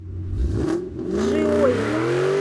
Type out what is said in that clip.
джиоева